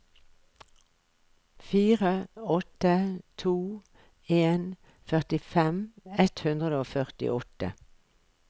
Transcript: fire åtte to en førtifem ett hundre og førtiåtte